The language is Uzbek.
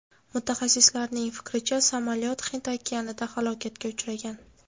Mutaxassislarning fikricha, samolyot Hind okeanida halokatga uchragan.